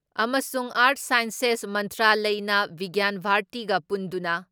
ꯑꯃꯁꯨꯡ art sciences ꯃꯟꯇ꯭ꯔꯥꯂꯌꯅ ꯕꯤꯒ꯭ꯌꯥꯟ ꯚꯥꯔꯇꯤꯒ ꯄꯨꯟꯗꯨꯅ